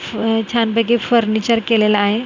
हे छानपैकी फर्निचर केलेलं आहे .